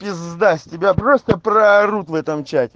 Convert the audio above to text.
пизда с тебя просто проарут в этом чате